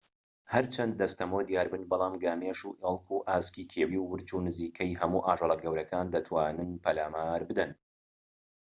هەرچەند دەستەمۆ دیاربن بەڵام گامێش و ئێڵك و ئاسکی کێویی و ورچ و نزیکەی هەموو ئاژەڵە گەورەکان دەتوانن پەلامار بدەن